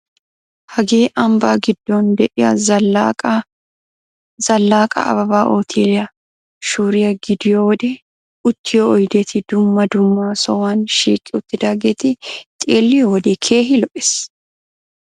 Hagee ambba giddon de'iya Zalaqa Ababa uuteeliya shuuriya gidiyo wode uttiyo oydeti dumma dumma sohuwan shiiqi uttidaageeti xeelliyo wode keehi lo"ees.